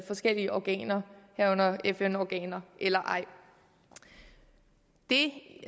forskellige organer herunder fn organer eller ej det